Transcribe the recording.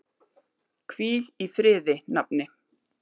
Hvíl í friði, nafni.